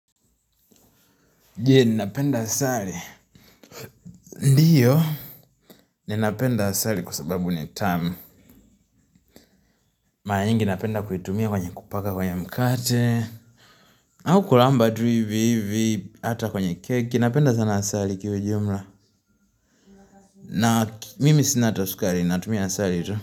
Nje ninapenda asali ndiyo ninapenda asali kwa sababu ni tamu mara nyingi napenda kuitumia kwenye kupaka kwenye mkate au kulamba tu hivi hivi hata kwenye keki napenda sana asali kiujumla na mimi sina hata sukari natumia asali tu.